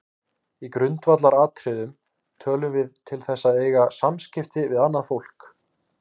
Í grundvallaratriðum tölum við til þess að eiga samskipti við annað fólk.